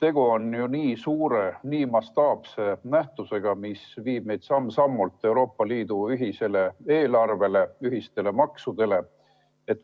Tegu on ju nii suure, nii mastaapse nähtusega, mis viib meid samm-sammult Euroopa Liidu ühise eelarve, ühiste maksude juurde.